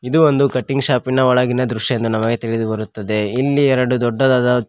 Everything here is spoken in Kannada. ಇದು ಒಂದು ಕಟ್ಟಿಂಗ್ ಶಾಪ್ ಇನ ಒಳಗಿನ ದೃಶ್ಯ ಇಂದು ನಮಗೆ ತಿಳಿದುಬರುತ್ತದೆ ಇಲ್ಲಿ ಎರಡು ದೊಡ್ಡದಾದ--